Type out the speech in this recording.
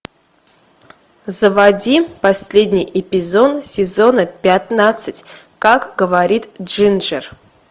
заводи последний эпизод сезона пятнадцать как говорит джинджер